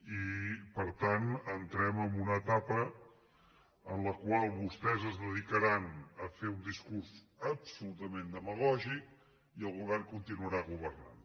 i per tant entrem en una etapa en la qual vostès es dedicaran a fer un discurs absolutament demagògic i el govern continuarà governant